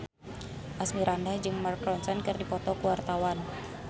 Asmirandah jeung Mark Ronson keur dipoto ku wartawan